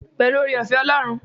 Pẹ̀lú oore-ọ̀fẹ́ Ọlọ́run.